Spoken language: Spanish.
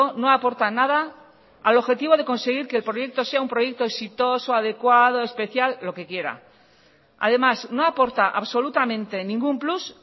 no aporta nada al objetivo de conseguir que el proyecto sea un proyecto exitoso adecuado especial lo que quiera además no aporta absolutamente ningún plus